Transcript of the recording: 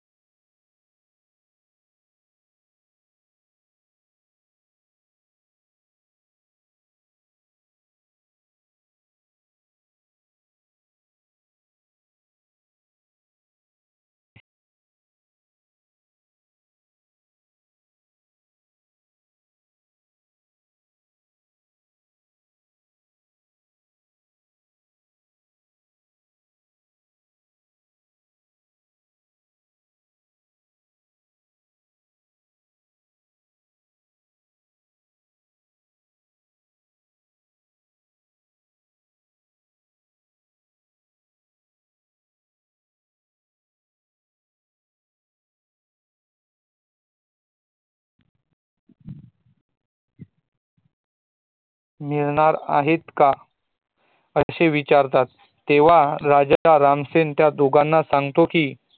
मिळणार आहेत का? असे विचारतात तेव्हा राजा रामसेन त्या दोघांना सागतो कि